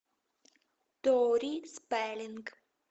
тори спеллинг